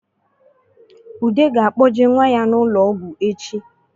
Ude ga-akpọje nwa ya n’ụlọọgwụ echi